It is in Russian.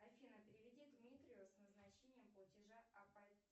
афина переведи дмитрию с назначением платежа